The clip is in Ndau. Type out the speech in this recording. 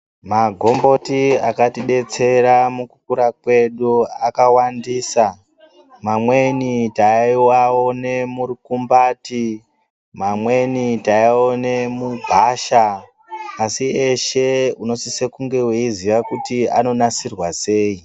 Magomboti akatidetsera mukukura kwedu akawandisa amweni taiaona murukumbati amweni taiaona mugwasha asi eshe uosise kunge weiziya kuti anonasirwa sei.